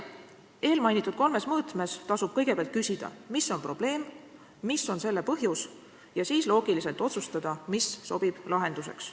Eelmainitud kolmes mõõtmes tasub kõigepealt küsida, mis on probleem, mis on selle põhjus, ja siis loogiliselt otsustada, mis sobib lahenduseks.